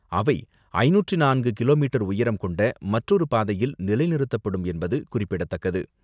அவை ஐநூற்று நான்கு கிலோமீட்டர் உயரம் கொண்ட மற்றொரு பாதையில் நிலைநிறுத்தப்படும் என்பது குறிப்பிடத்தக்கது.